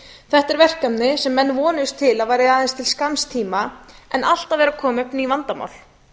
þetta er verkefni sem menn vonuðust til að væri aðeins til skamms tíma en alltaf eru að koma upp ný vandamál